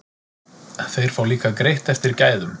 Þeir fá líka greitt eftir gæðum.